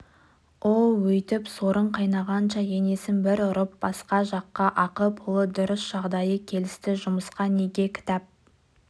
оу өйтіп сорың қайнағанша енесін бір ұрып басқа жаққа ақы-пұлы дұрыс жағдайы келісті жұмысқа неге кетіп